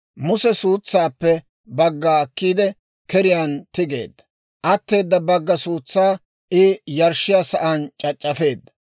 Muse suutsaappe bagga akkiide keriyaan tigeedda; atteeda bakka suutsaa I yarshshiyaa sa'aan c'ac'c'afeedda.